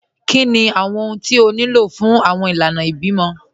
Kíni awọn ọhun tí ó ní lọ fun awọn ilànà ìbímọ?